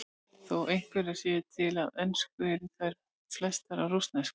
Þó einhverjar séu til á ensku eru þær flestar á rússnesku.